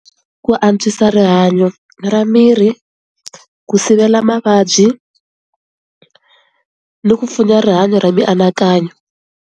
Ku antswisa rihanyo ra miri, ku sivela mavabyi, ni ku pfuna rihanyo ra mianakanyo.